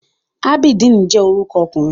Abideen je oruko okunrin